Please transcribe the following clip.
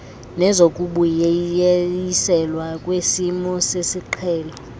nezokubuyiselwa kwesimo sesiqhelo